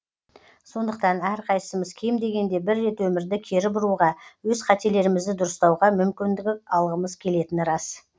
сондықтан әрқайсымыз кем дегенде бір рет өмірді кері бұруға өз қателерімізді дұрыстауға мүмкіндік алғымыз келетіні рас